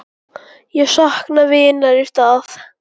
Ég sakna vinar í stað.